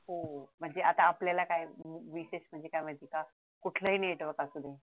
हो म्हणजे आता आपल्याला काय विशेष मिनिटं मिळतात कुठल्याही नेट